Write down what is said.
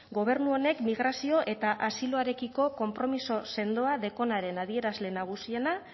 gobernu honek migrazio eta asiloarekiko konpromiso sendoa dekonaren adierazle nagusiena